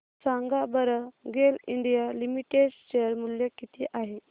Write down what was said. सांगा बरं GAIL India Limited share मूल्य किती आहे